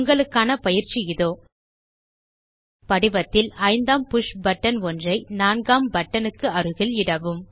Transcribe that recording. உங்களுக்கான பயிற்சி இதோ படிவத்தில் ஐந்தாம் புஷ் பட்டன் ஒன்றை நான்காம் பட்டனுக்கு அருகில் இடவும்